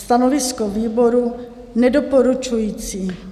Stanovisko výboru nedoporučující.